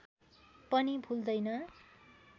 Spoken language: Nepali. पनि भुल्दैन